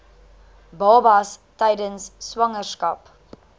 babas tydens swangerskap